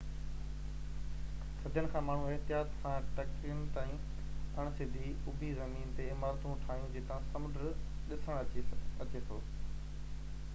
صدين کان ماڻهن احتياط سان ٽڪرين تائين اڻ سڌي اُڀي زمين تي عمارتون ٺاهيون جتان سمنڊ ڏسڻ اچي ٿو